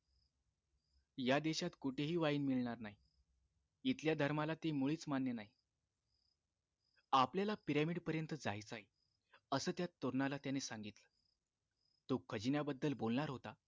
या देशात कुठेही wine मिळणार नाही इथल्या धर्माला ती मुळीच मान्य नाही आपल्याला pyramid पर्यंत जायचंय असं त्या तरुणाला त्याने सांगितले तो खजिन्याबद्दल बोलणार होता